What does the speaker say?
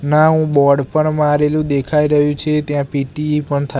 નાવુ board પણ મારેલુ દેખાય રહ્યુ છે ત્યાં પી_ટી પણ થા--